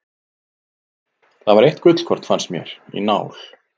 Það var eitt gullkorn, fannst mér, í nál.